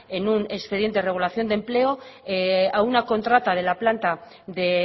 en un expediente de regulación de empleo a una contrata de la planta de